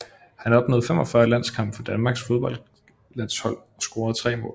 Han opnåede 45 landskampe for Danmarks fodboldlandshold og scorede 3 mål